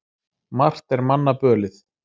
Margt er manna bölið.